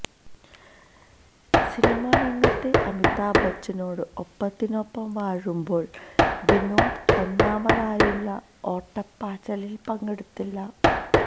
സിനിമാരംഗത്ത് അമിതാഭ് ബച്ചനോട് ഒപ്പത്തിനൊപ്പം വാഴുമ്പോഴും വിനോദ് ഒന്നാമതാവാനുള്ള ഓട്ടപ്പാച്ചിലിൽ പങ്കെടുത്തില്ല